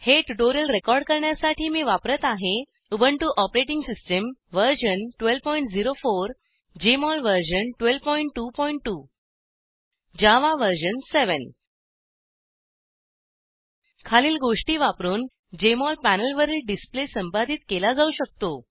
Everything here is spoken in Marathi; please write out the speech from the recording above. हे ट्युटोरिअल रेकॉर्ड करण्यासाठी मी वापरत आहे Ubuntu OS version 1204 Jmol version 1222 Java version 7 खालील गोष्टी वापरून जेएमओल पॅनेलवरील डिसप्ले संपादित केला जाऊ शकतो